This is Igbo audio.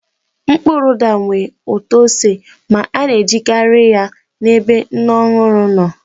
Mkpụrụ ụda nwere ụtọ ose ma a na-ejikarị ya n'ebe nne ọhụrụ nọ